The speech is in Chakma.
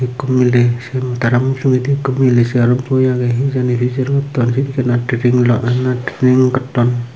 ekko miley sem tara mujugedi ekko miley segarot boi agey hi jani pijer gotton pi pina tipin lo na trining gotton.